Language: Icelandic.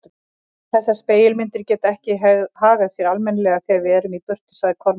Þessar spegilmyndir geta ekki hagað sér almennilega þegar við erum í burtu, sagði Kormákur.